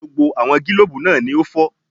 Gbogbo àwọn gílòbú náà ni ó fọ́